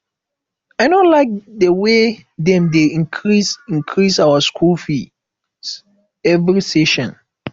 i no like the way dem dey increase increase our school fees every session